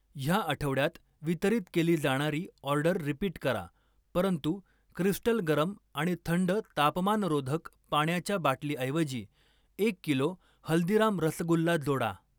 ह्या आठवड्यात वितरित केली जाणारी ऑर्डर रिपीट करा परंतु क्रिस्टल गरम आणि थंड तापमानरोधक पाण्याच्या बाटलीऐवजी एक किलो हल्दीराम रसगुल्ला जोडा.